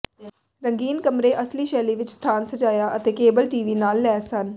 ਰੰਗੀਨ ਕਮਰੇ ਅਸਲੀ ਸ਼ੈਲੀ ਵਿੱਚ ਸਥਾਨ ਸਜਾਇਆ ਅਤੇ ਕੇਬਲ ਟੀ ਵੀ ਨਾਲ ਲੈਸ ਹਨ